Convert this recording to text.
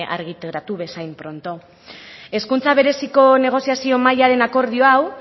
argitaratu bezain pronto hezkuntza bereziko negoziazio mailaren akordio hau